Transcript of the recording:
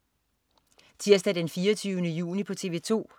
Tirsdag den 24. juni - TV 2: